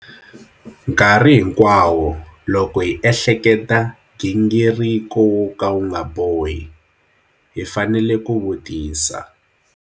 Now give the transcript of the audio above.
Nkarhi hinkwawo loko hi ehleketa gingiriko wo ka wu nga bohi, hi fanele ku vutisa.